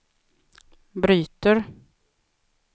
bryter